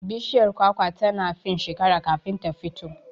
Bishiyar kwakwa tana fin shekera kafin ta fito